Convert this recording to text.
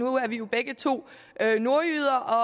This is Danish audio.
er jo begge to nordjyder